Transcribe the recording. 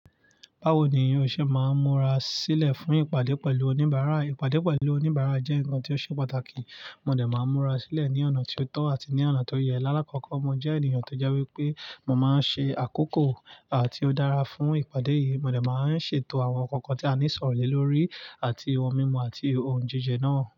Báwo ni n o ṣe máa múra sílẹ̀ fún ìpàdé pẹ̀lú oníbàárà? Ìpàdé pẹ̀lú oníbàárà jẹ́ ǹkan tí ó ṣe pàtàkì, mo dẹ máa múra sílẹ̀ ní ọ̀nà tí ó tọ́ àti ní ọ̀nà tó yẹ. Láàkọ́kọ́, mo jẹ́ ènìyàn tó jẹ́ wípé mo máa ń ṣe àkókò àti ó dára fún ìpàdé yìí. Mo dẹ máa ń ṣètò àwọn ǹkan kan tí a ní ṣọrọ lè lórí àti ohun mímu àti ohun jíjẹ náà.